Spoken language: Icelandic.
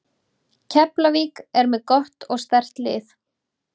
Keflavík er með gott og sterkt lið.